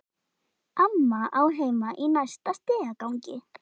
Amma á heima í næsta stigagangi.